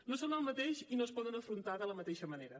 no són el mateix i no es podem afrontar de la mateixa manera